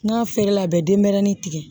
N'a feere la a bɛ denyɛrɛni tigɛ